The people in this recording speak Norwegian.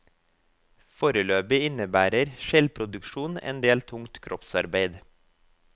Foreløpig innebærer skjellproduksjon en del tungt kroppsarbeid.